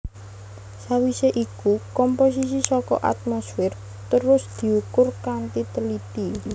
Sawisé iku komposisi saka atmosfer terus diukur kanthi teliti